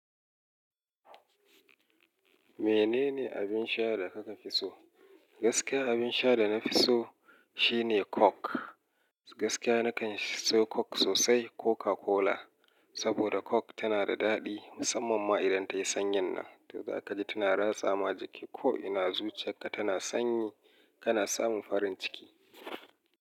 Menene abin sha da kaka fi so? Gaskiya abin sha da na fi so shine coke. Gaskiya nakan so coke sosai Coca-Cola. Saboda coke tana da daɗi musamman ma idan ta yi sanyinnan. To za ka ji tana ratsa ma jiki ko ina zuciyarka tana sanyi kana samun farin ciki.